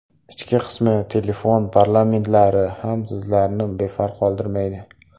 Ichki qismi Telefon parametrlari ham Sizlarni befarq qoldirmaydi.